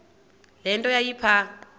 le nto yayipha